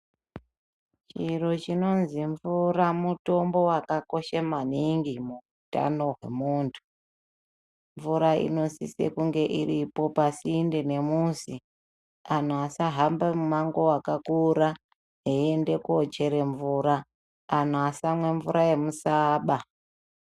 Chiro chinozi mvura mutombo wakakosha maningi muutano hwemunthu. Mvura inosise kunge iripo pasinde nemuzi, anhu asahamba mumango wakakura eiende koochera mvura, anhu asamwa mvura yemusaaba.